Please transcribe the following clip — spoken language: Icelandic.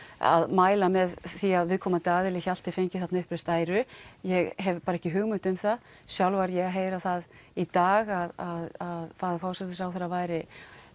að mæla með því að viðkomandi aðili Hjalti fengi þarna uppreist æru ég hef bara ekki hugmynd um það sjálf var ég að heyra það í dag að faðir forsætisráðherra væri